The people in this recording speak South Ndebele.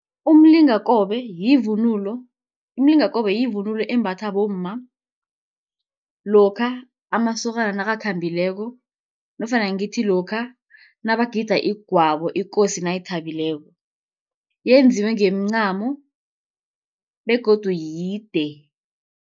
Umlingakobe yivunulo, umlingakobe yivunulo embathwa bomma, lokha amasokana nakakhambileko, nofana ngithi lokha nabagida igwabo ikosi nayithabileko, yenziwe ngemincamo begodu yide.